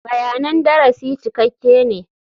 Bayanan darasi cikakke ne.